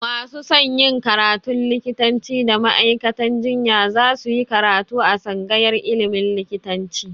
Masu son yin karatun likitanci da ma'aikatan jinya za su yi karatu a tsangayar ilimin likitanci